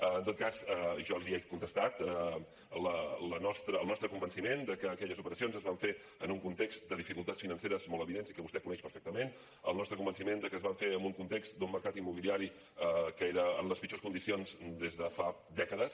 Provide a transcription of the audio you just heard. en tot cas jo li he contestat el nostre convenciment de que aquelles operacions es van fer en un context de dificultats financeres molt evidents i que vostè coneix perfectament el nostre convenciment de que es van fer en un context d’un mercat immobiliari que era en les pitjors condicions des de fa dècades